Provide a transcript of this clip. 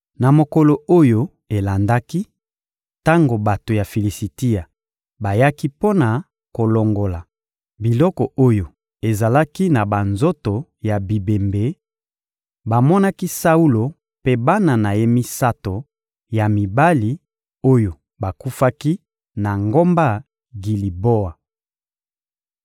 Na mokolo oyo elendaki, tango bato ya Filisitia bayaki mpo na kolongola biloko oyo ezalaki na banzoto ya bibembe, bamonaki Saulo mpe bana na ye misato ya mibali oyo bakufaki na ngomba Giliboa.